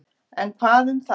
En hvað um það.